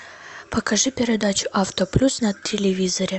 покажи передачу авто плюс на телевизоре